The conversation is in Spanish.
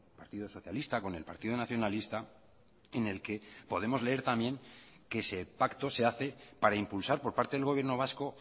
partido socialista con el partido nacionalista en el que podemos leer también que ese pacto se hace para impulsar por parte del gobierno vasco